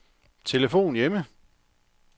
telefon hjemme